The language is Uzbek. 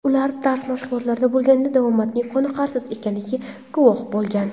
Ular dars mashg‘ulotlarida bo‘lganida davomatning qoniqarsiz ekanligiga guvoh bo‘lgan.